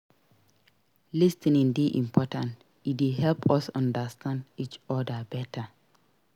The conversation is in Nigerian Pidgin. Lis ten ing dey important; e dey help us understand each other better.